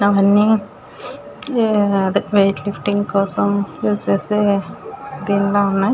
అదే weight lifting కోసం use చేసే దీని లాగా ఉన్నాయ్.